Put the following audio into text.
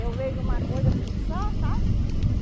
Eu vejo uma coisa, eu fico só, sabe?